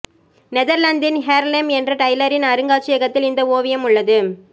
நெதர்லாந்தின் Haarlem என்ற டைலரின் அருங்காட்சியகத்தில் இந்த ஓவியம் உள்ளது